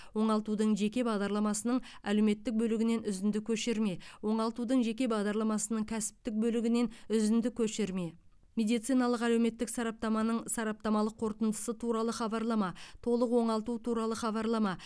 оңалтудың жеке бағдарламасының әлеуметтік бөлігінен үзінді көшірме оңалтудың жеке бағдарламасының кәсіптік бөлігінен үзінді көшірме медициналық әлеуметтік сараптаманың сараптамалық қорытындысы туралы хабарлама толық оңалту туралы хабарлама